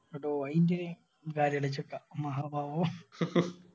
അപ്പൊ അയേന്തിന് മഹാ പാപം